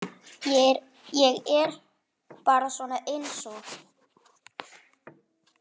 Ég er bara svona einsog.